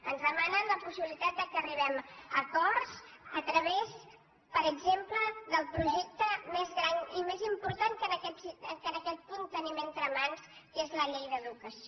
ens demanen la possibilitat que arribem a acords a través per exemple del projecte més gran i més important que en aquest punt tenim entre mans que és la llei d’educació